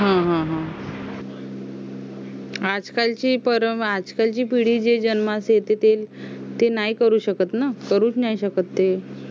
हम्म हम्म आज कालची बरं आजकाल जी पिढी जन्मास येते ते नाही करू शकत ना करूच नाही शकते